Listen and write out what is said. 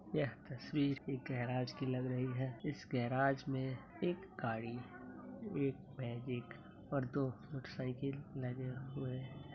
यह तस्वीर एक गैराज की लग रही है इस गैराज में एक गाड़ी एक मैजिक और दो मोटर साइकिल लगे हुए है।